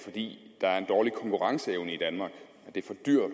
det er er en dårlig konkurrenceevne i danmark det